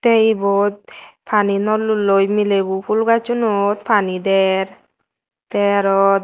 te ebot pani nolloloi milebo phul gacchinot paani der te arow da eh.